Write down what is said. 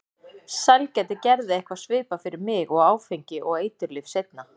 Sælgæti gerði eitthvað svipað fyrir mig og áfengi og eiturlyf seinna.